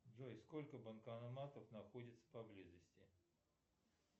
джой сколько банкоматов находится поблизости